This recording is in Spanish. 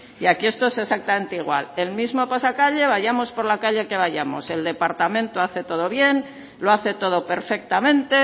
y aquí esto es exactamente igual el mismo pasacalle vayamos por la calle que vayamos el departamento hace todo bien lo hace todo perfectamente